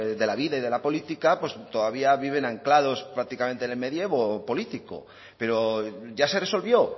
de la vida y de la política pues todavía viven anclados prácticamente en el medievo político pero ya se resolvió